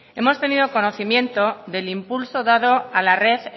hemos tenido conocimiento del impulso dado a la red